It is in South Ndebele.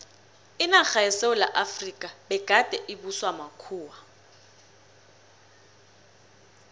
inarha yesewula efrika begade ibuswa makhuwa